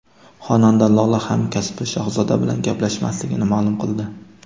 Xonanda Lola hamkasbi Shahzoda bilan gaplashmasligini ma’lum qildi.